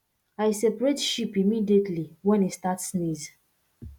i separate sheep immediately when e start sneeze